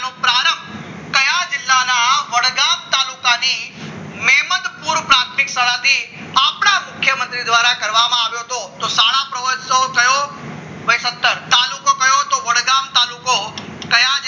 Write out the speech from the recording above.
વડગામ તાલુકાની મેમદપુર પ્રાથમિક શાળાની આપણા મુખ્યમંત્રી દ્વારા કરવામાં આવ્યું હતું તો સાડા પ્રવહોત્સવ થયો હતો સત્તર તાલુકો કયો તો વડગામ તાલુકો કયા